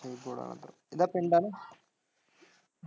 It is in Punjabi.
ਇਹਦਾ ਪਿੰਡ ਆ ਨਾ।